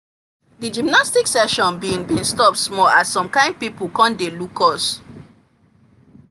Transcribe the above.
the gymnastic session been been stop small as some kin people come dey look us